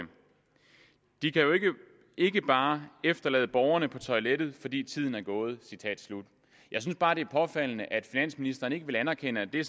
de kan jo ikke bare efterlade borgeren på toilettet fordi tiden er gået jeg synes bare det er påfaldende at finansministeren ikke vil anerkende at det